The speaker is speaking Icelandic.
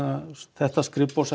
þetta